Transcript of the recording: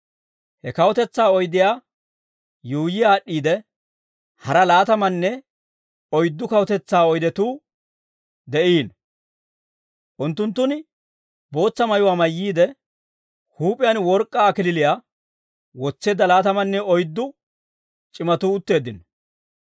He kawutetsaa oydiyaa yuuyyi aad'd'iide, hara laatamanne oyddu kawutetsaa oydetuu de'iino; unttunttun bootsa mayuwaa mayyiide, huup'iyaan work'k'aa kallachchaa wotseedda laatamanne oyddu c'imatuu utteeddino.